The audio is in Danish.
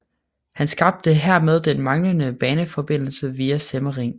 Han skabte hermed den manglende baneforbindelse via Semmering